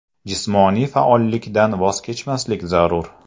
Jismoniy faollikdan voz kechmaslik zarur.